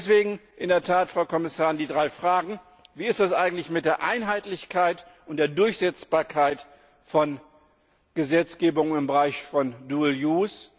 Und deswegen in der Tat, Frau Kommissarin, die drei Fragen Wie ist das eigentlich mit der Einheitlichkeit und der Durchsetzbarkeit der Gesetzgebung im Bereich von dual use